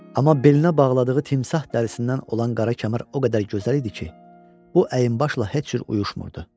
Amma belinə bağladığı timsah dərisindən olan qara kəmər o qədər gözəl idi ki, bu əynibaşla heç cür uyuşmurdu.